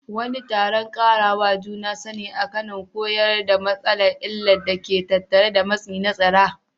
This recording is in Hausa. Wani taron ƙarawa juna sani a Kano koyar da matasa illar da ke tattare da matsi na tsara.